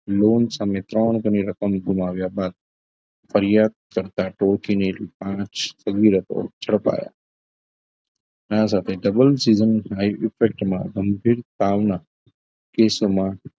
Loan સામે ત્રણ હજારની રકમ ગુમાવે બાદ ફરિયાદ કરતા ટોકીને પાંચ કરોડની રકમ ઝડપાયા આ સાથે double seasson માં ગંભીર તાવના કેસમાં